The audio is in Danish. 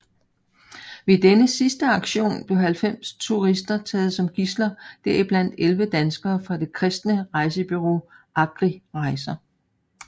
Ved denne sidste aktion blev 90 turister taget som gidsler heriblandt 11 danskere fra det kristne rejsebureau Agri Rejser